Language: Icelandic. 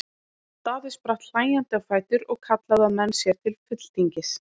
Daði spratt hlæjandi á fætur og kallaði á menn sér til fulltingis.